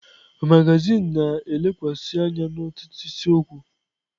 Magazin na-elekwasị anya n'otu isiokwu.